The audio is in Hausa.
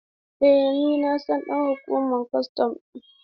Eh na san ɗan hukumar kwastan ɗin.